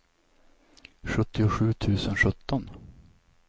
sjuttiosju tusen sjutton